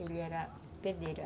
Ele era pedreiro.